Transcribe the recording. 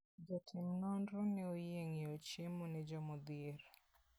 Jotim nonro ne oyie ng'iewo chiemo ne jomodhier.